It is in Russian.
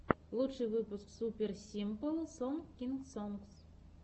лучший выпуск супер симпл сонгс кидс сонгс